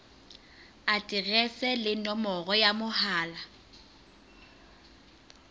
aterese le nomoro ya mohala